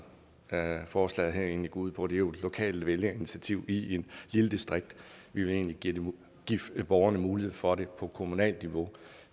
forslaget her egentlig går ud på det er jo et lokalt vælgerinitiativ i et lille distrikt vi vil egentlig give borgerne mulighed for det på kommunalt niveau